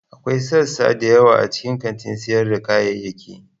Akwai sassa da yawa a cikin kantin sayar da kayayyaki.